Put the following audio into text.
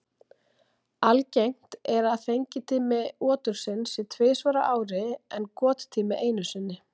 Algengt er að fengitími otursins sé tvisvar á ári en gottími einu sinni.